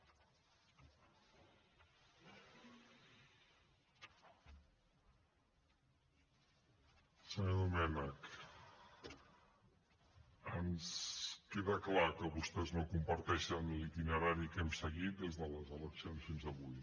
senyor domènech ens queda clar que vostès no comparteixen l’itinerari que hem seguit des de les eleccions fins avui